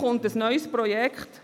Hier kommt ein neues Projekt.